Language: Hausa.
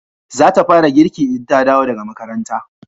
za ta fara girki in ta dawo daga makaranta